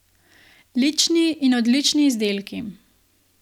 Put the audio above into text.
Lični in odlični izdelki.